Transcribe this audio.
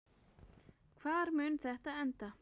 Hvar mun þetta enda?